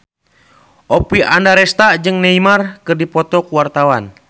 Oppie Andaresta jeung Neymar keur dipoto ku wartawan